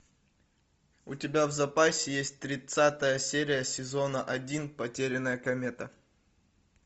у тебя в запасе есть тридцатая серия сезона один потерянная комета